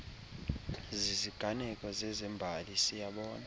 ziziganeko zezembali siyabona